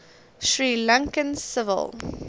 sri lankan civil